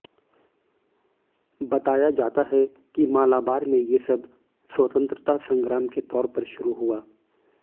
बताया जाता है कि मालाबार में ये सब स्वतंत्रता संग्राम के तौर पर शुरू हुआ